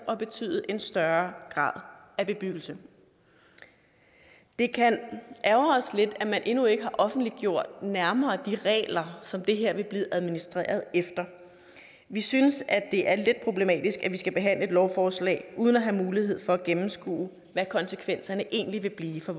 og betyde en større grad af bebyggelse det kan ærgre os lidt at man endnu ikke har offentliggjort de nærmere regler som det her vil blive administreret efter vi synes det er lidt problematisk at vi skal behandle et lovforslag uden at have mulighed for at gennemskue hvad konsekvenserne egentlig vil blive for